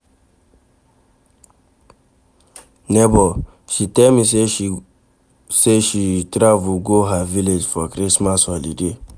Nebor, she tell me sey she travel go her village for Christmas holiday.